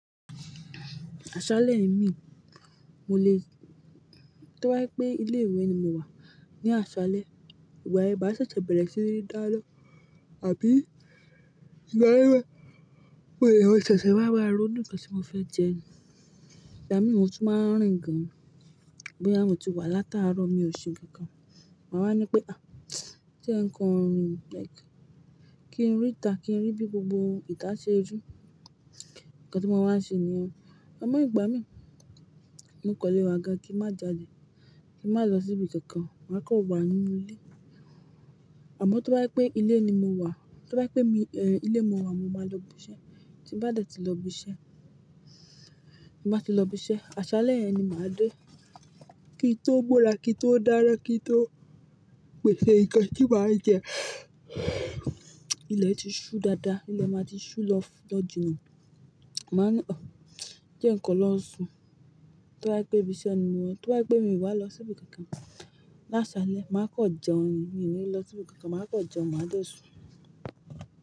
Àṣálẹ́ ì mí, mo lè, tó bá jẹ́ pé ilé ìwé ni mo wà ní àṣálẹ́, ìgbà yẹn máa sẹ̀sẹ̀ bẹ̀rẹ̀ sí ní dá lọ, àbí ìgbà yẹn, mo lè maa sẹ̀sẹ̀ wá máa ronú ǹkan tí mo fẹ́ jẹ ni. Ìgbà mi mo tún máa ń rìn gan, bóyá mo ti wá látaàárọ̀ mi ò ṣe nǹkan kan. Ma wá ní pé, "à, jẹ́ n kan rìn, like kí n rí ìta, kí n rí bí gbogbo ìta ṣe rí." Ǹkan tí mo máa ń ṣe nìyẹn. Àmọ́ ìgbà mí, mo kàn le wà gan kí n má jáde, kí n má lọ síbi kankan, màá kàn wà nínú ilé. Àmọ́ tó bá jẹ́ pé ilé ni mo wà, tó bá jẹ́ pé mi, ẹ́, ilé mo wà, mo máa lọ ibi iṣẹ́. Tí n bá dẹ̀ tí lọ ibi iṣẹ́, tí n bá ti lọ ibi iṣẹ́, àṣálẹ́ yẹn ni màá dé. Kí n tó bọ́ra, kí n tó dáná, kí n tó pèsè ǹkan tí mà á jẹ. Ilẹ̀ ti ṣú dáadáa, ilẹ̀ máa ti ṣú lọ́-lọ́ jìnà. Ma n ní, "ọ̀, jé nǹkan lọ sùn." To bá jẹ pé ibi iṣẹ́ ni mo wà, tó bá jẹ pé mi wá lọ síbi kankan l’àṣálẹ́, màá kàn jẹun, mi ní lọ síbi kankan, màá kàn jẹun, màá dẹ̀ sùn.